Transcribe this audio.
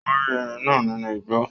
Ó rí ẹrin náà nínú igbó